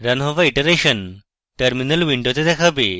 run হওয়া iterations terminal উইন্ডোরতে দেখাবে